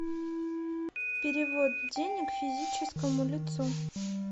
перевод денег физическому лицу